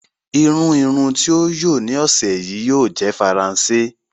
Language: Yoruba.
Irùn irùn tí o yóò ní ọṣẹ̀ yí yóò jẹ̀ Faransé.